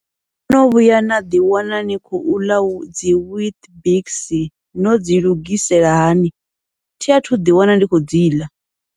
No no vhuya naḓi wana ni khou ḽa dzi weet bix, nodzi lugisela hani, thi athu ḓi wana ndi khou dziḽa.